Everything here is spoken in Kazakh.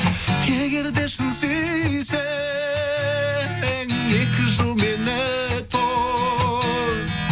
егер де шын сүйсең екі жыл мені тос